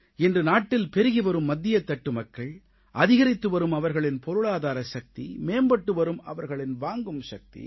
இன்று நாட்டில் பெருகி வரும் மத்தியத்தட்டு மக்கள் அதிகரித்து வரும் அவர்களின் பொருளாதார சக்தி மேம்பட்டு வரும் அவர்களின் வாங்கும் சக்தி